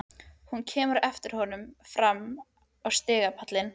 Hún kemur á eftir honum fram á stigapallinn.